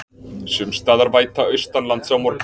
Sums staðar væta austanlands á morgun